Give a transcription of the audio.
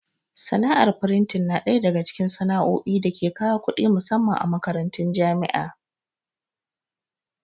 Sana'ar frintin na ɗaya daga cikin sana'o'i da ke kawo kuɗi musamman a makarantun jami'a.